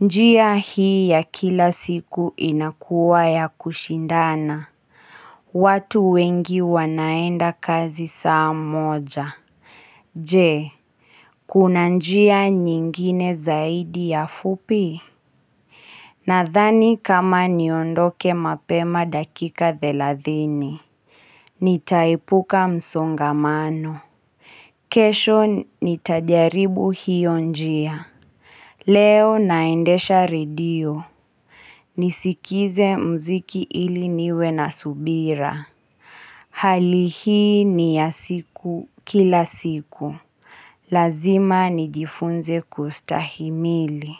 Njia hii ya kila siku inakuwa ya kushindana. Watu wengi wanaenda kazi saa moja. Je, kuna njia nyingine zaidi ya fupi? Nathani kama niondoke mapema dakika thelathini Nitaepuka msongamano kesho nitajaribu hiyo njia Leo naendesha radio Nisikize mziki ili niwe na subira Hali hii ni ya siku kila siku Lazima nijifunze kustahimili.